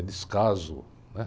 É descaso, né?